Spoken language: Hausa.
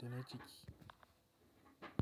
da na ciki.